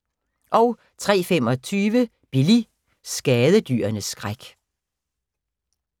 03:25: Billy – skadedyrenes skræk